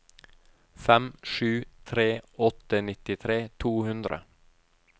fem sju tre åtte nittitre to hundre